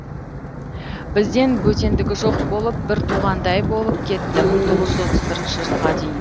бізден бөтендігі жоқ болып бір туғандай болып кетті мың тоғыз жүз отыз бірінші жылға дейін